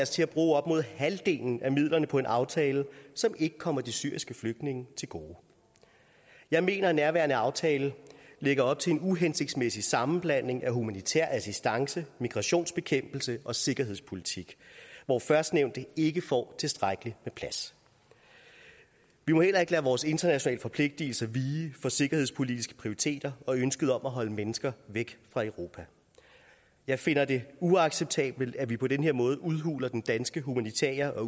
til at bruge op mod halvdelen af midlerne på en aftale som ikke kommer de syriske flygtninge til gode jeg mener at nærværende aftale lægger op til en uhensigtsmæssig sammenblanding af humanitær assistance migrationsbekæmpelse og sikkerhedspolitik hvor førstnævnte ikke får tilstrækkelig med plads vi må heller ikke lade vores internationale forpligtelser vige for sikkerhedspolitiske prioriteter og ønsket om at holde mennesker væk fra europa jeg finder det uacceptabelt at vi på den her måde udhuler den danske humanitære